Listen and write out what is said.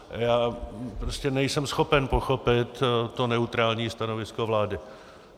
Já prostě nejsem schopen pochopit to neutrální stanovisko vlády.